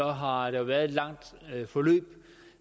har har der været et langt forløb